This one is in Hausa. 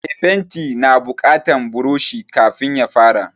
Me fenti na buƙatan buroshi kafin ya fara